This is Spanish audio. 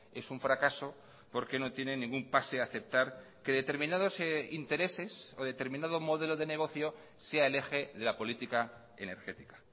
es un fracaso porque no tienen ningún pase a aceptar que determinados intereses o determinado modelo de negocio sea el eje de la política energética